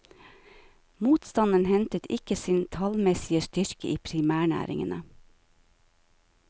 Motstanden hentet ikke sin tallmessige styrke i primærnæringene.